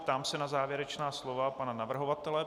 Ptám se na závěrečná slova pana navrhovatele.